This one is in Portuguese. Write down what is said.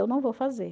Eu não vou fazer.